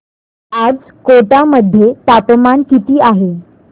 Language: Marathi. आज कोटा मध्ये तापमान किती आहे